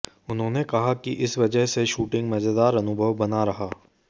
उन्होंने कहा कि इस वजह से शूटिंग मजेदार अनुभव बना रहा